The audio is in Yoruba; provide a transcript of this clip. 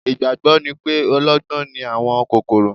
Ìgbàgbọ́ ni pé ọlọ́gbọ́n ni àwọn kòkòrò